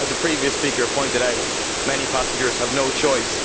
As a previous speaker pointed out, many passengers have no choice.